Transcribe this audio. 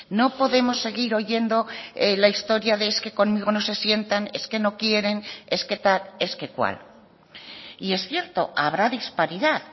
no podemos seguir oyendo la historia de es que conmigo no se sientan es que no quieren es que tal es que cual y es cierto habrá disparidad